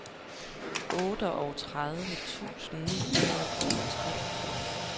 otteogtredive tusind ni hundrede og treogfirs